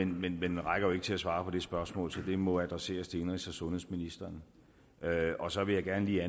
men den rækker jo ikke til at svare på det spørgsmål så det må adresseres til indenrigs og sundhedsministeren og så vil jeg gerne lige